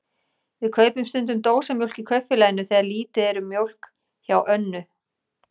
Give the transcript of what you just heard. Við kaupum stundum dósamjólk í Kaupfélaginu þegar lítið er um mjólk hjá Önnu.